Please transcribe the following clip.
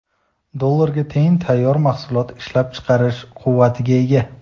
dollarga teng tayyor mahsulot ishlab chiqarish quvvatiga ega.